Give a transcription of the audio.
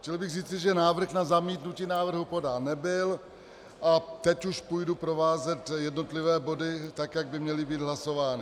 Chtěl bych říci, že návrh na zamítnutí návrhu podán nebyl, a teď už budu provázet jednotlivé body, tak jak by měly být hlasovány.